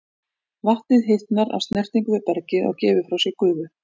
Vatnið hitnar af snertingu við bergið og gefur frá sér gufu.